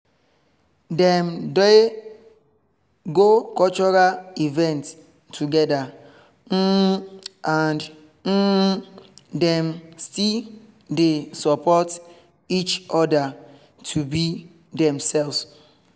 dem dey go cultural event together um and um dem still dey support each other to be demselves